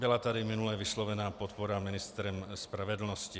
Byla tady minule vyslovena podpora ministrem spravedlnosti.